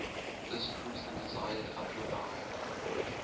this proves the desired upper bound